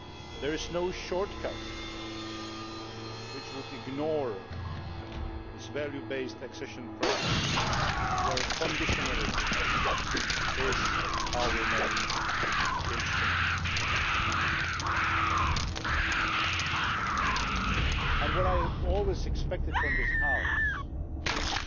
There is no shortcut which would ignore this value based accession process where conditionality is our main instrument. What I have always expected from this House is that